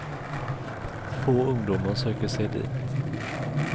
Få ungdomar söker sig dit.